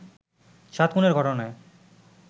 সাত খুনের ঘটনায়